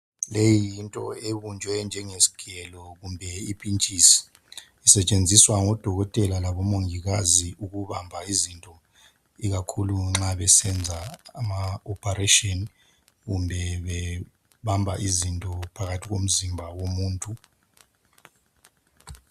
Leyi into ebunjwe njengesigelo kumbe ipintshisi. Isetshenziswa ngabodokotela kumbe omongikazi ukubamba izinto ikakhulu nxa besenza ama "operation" kumbe bebamba izinto phakathi komzimba womuntu.